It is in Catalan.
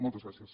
moltes gràcies